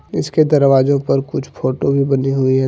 इसके दरवाजों पर कुछ फोटो भी बनी हुई है ।